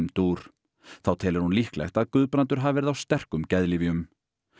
dúr þá telur hún líklegt að Guðbrandur hafi verið á sterkum geðlyfjum